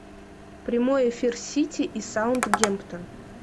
прямой эфир сити и саутгемптон